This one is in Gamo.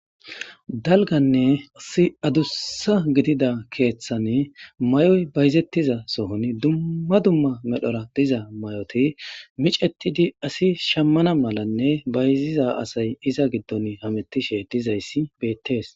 dalganne asi adussa gidida keeththane may'oy bayizettiza sohon dumma dumma medhora diza may'oti micetidi asi shammana malanne bayziza asay iza giddon hametishe dizayssi beettees.